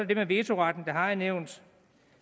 det med vetoretten det har jeg nævnt